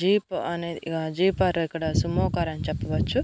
jeep అనేది jeep car ఇక్కడ Sumo car అని చెప్పవచ్చు